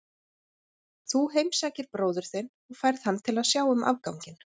Þú heimsækir bróður þinn og færð hann til að sjá um afganginn.